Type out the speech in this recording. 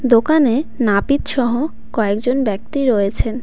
দোকানে নাপিতসহ কয়েকজন ব্যক্তি রয়েছেন.